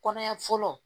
Kɔnɔya fɔlɔ